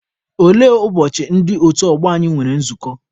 Olee ụbọchị ndị otu ọgbọ nwere nzukọ?